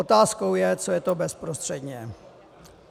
Otázkou je, co je to bezprostředně.